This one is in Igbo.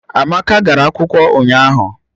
Amaka gara akwụkwọ ụnyahụ